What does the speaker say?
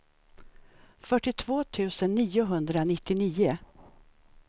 fyrtiotvå tusen niohundranittionio